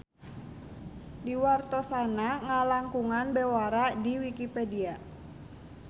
Diwartosanna ngalangkungan bewara di Wikipedia.